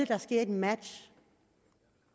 der sker et match